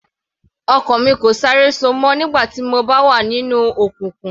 Ọ̀kan mi kò sáré ṣọ mọ́ nígbà tí mo bá wà nínú òkùnkùn.